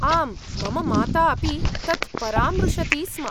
आम्, मम माता अपि तत् परामृशति स्म।